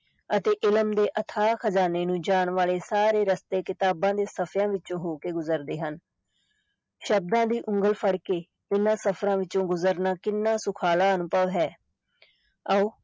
ਅਤੇ ਇਲਮ ਦੇ ਅਥਾਹ ਖ਼ਜਾਨੇ ਨੂੰ ਜਾਣ ਵਾਲੇ ਸਾਰੇ ਰਸਤੇ ਕਿਤਾਬਾਂ ਦੇ ਸਫ਼ਿਆਂ ਵਿੱਚੋਂ ਹੋ ਕੇ ਗੁਜ਼ਰਦੇ ਹਨ ਸ਼ਬਦਾਂ ਦੀ ਉਂਗਲ ਫੜ ਕੇ ਇਹਨਾਂ ਸਫ਼ਰਾਂ ਵਿੱਚੋਂ ਗੁਜ਼ਰਨਾ ਕਿੰਨਾ ਸੁਖਾਲਾ ਅਨੁਭਵ ਹੈ ਆਓ